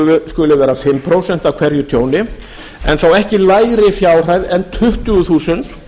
skuli vera fimm prósent af hverju tjóni en þó ekki lægri fjárhæð en tuttugu þúsund